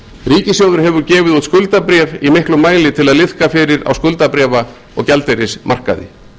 ríkissjóður hefur gefið út skuldabréf í miklum mæli til að liðka fyrir á skuldabréfa og gjaldeyrismarkaði